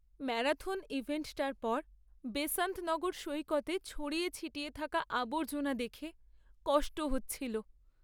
Marathon ইভেন্টটার পর বেসান্ত নগর সৈকতে ছড়িয়ে ছিটিয়ে থাকা আবর্জনা দেখে কষ্ট হচ্ছিল।